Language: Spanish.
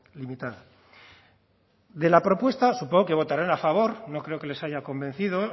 limitada de la propuesta supongo que votarán a favor no creo que les haya convencido